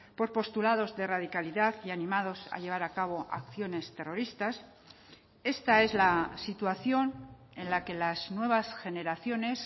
por postulados de radicalidad y animados a llevar a cabo acciones terroristas esta es la situación en la que las nuevas generaciones